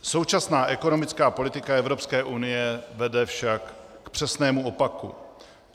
Současná ekonomická politika Evropské unie vede však k přesnému opaku.